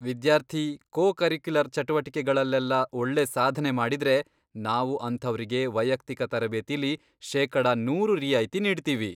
ವಿದ್ಯಾರ್ಥಿ co curricular ಚಟುವಟಿಕೆಗಳಲ್ಲೆಲ್ಲ ಒಳ್ಳೆ ಸಾಧನೆ ಮಾಡಿದ್ರೆ ನಾವು ಅಂಥವ್ರಿಗೆ ವೈಯಕ್ತಿಕ ತರಬೇತಿಲಿ ಶೇಕಡ ನೂರು ರಿಯಾಯ್ತಿ ನೀಡ್ತೀವಿ.